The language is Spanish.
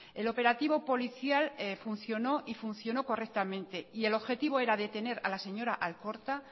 el operativo policial funcionó y funcionó correctamente y el objetivo era detener a la señora alkorta